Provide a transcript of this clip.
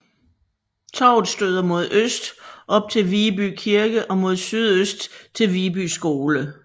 Torvet støder mod øst op til Viby Kirke og mod sydøst til Viby Skole